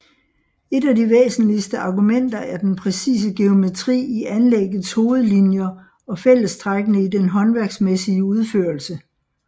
Et af de væsentligste argumenter er den præcise geometri i anlæggets hovedlinjer og fællestrækkene i den håndværksmæssige udførelse